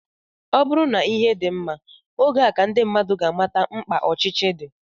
Ọ bụrụ na ihe dị mma, oge a ka ndị mmadụ ga-amata mkpa ọchịchị dị